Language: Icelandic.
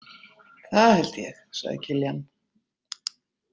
Það held ég, sagði Kiljan.